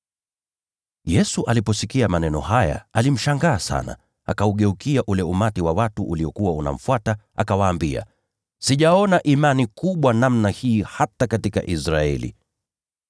Yesu aliposikia maneno haya, alishangazwa naye sana. Akaugeukia ule umati wa watu uliokuwa unamfuata, akawaambia, “Sijaona imani kubwa namna hii hata katika Israeli.”